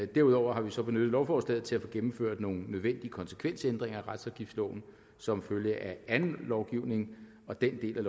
derudover har vi så benyttet lovforslaget til at få gennemført nogle nødvendige konsekvensændringer af retsafgiftsloven som følge af anden lovgivning og den del af